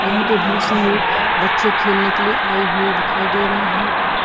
यहां पे बहुत सारे बच्चे खेलने के लिए आए हुए दिखाई दे रहे हैं।